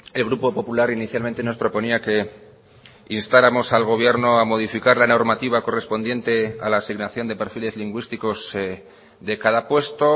el grupo popular inicialmente nos proponía que instáramos al gobierno a modificar la normativa correspondiente a la asignación de perfiles lingüísticos de cada puesto